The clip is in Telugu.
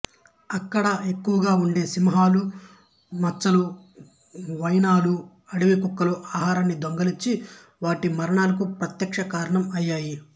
ఇక్కడ ఎక్కువగా ఉండే సింహాలు మచ్చల హైనాలూ అడవి కుక్కల ఆహారాన్ని దొంగిలించి వాటి మరణాలకు ప్రత్యక్ష కారణం అయ్యాయి